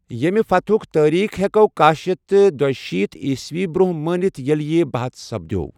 یمہِ فتحُك تٲریخ ہٮ۪کو کاہ شیتہ تہٕ دُشیٖتھ عیسوی برٛونٛہہ مٲنِتھ ییٚلہِ یہِ بَحَث سپدِیو٘ ۔